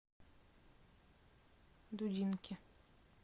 дудинки